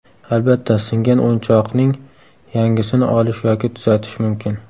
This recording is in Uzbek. Albatta, singan o‘yinchoqning yangisini olish yoki tuzatish mumkin.